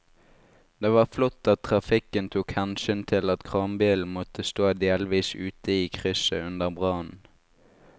Det var flott at trafikken tok hensyn til at kranbilen måtte stå delvis ute i krysset under brannen.